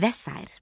Və sair.